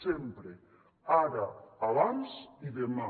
sempre ara abans i demà